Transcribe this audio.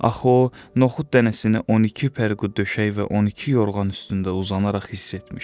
Axı o, noxud dənəsini 12 pərqu döşək və 12 yorğan üstündə uzanaraq hiss etmişdi.